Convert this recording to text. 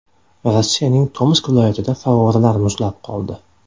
Rossiyaning Tomsk viloyatida favvoralar muzlab qoldi.